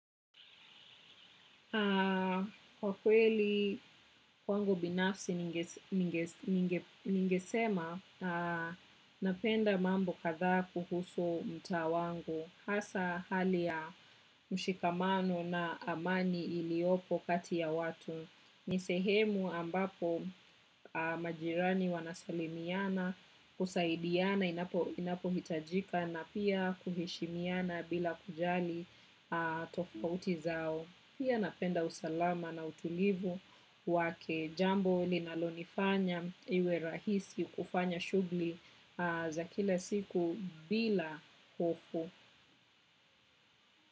Kwa kweli kwangu binafsi ningesema napenda mambo kadhaa kuhusu mtaa wangu hasa hali ya mshikamano na amani iliyopo kati ya watu. Ni sehemu ambapo majirani wanasalimiana kusaidiana inapohitajika na pia kuheshimiana bila kujali tofauti zao. Pia napenda usalama na utulivu wake jambo linalonifanya iwe rahisi kufanya shughuli za kila siku bila hofu.